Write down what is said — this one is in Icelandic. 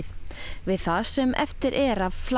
við það sem eftir er af flaki